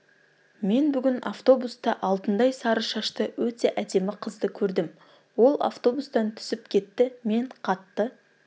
мен бүгін автобуста алтындай сары шашты өте әдемі қызды көрдім ол автобустан түсіп кетті мен қатты